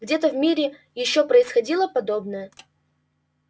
где-то в мире ещё происходило подобное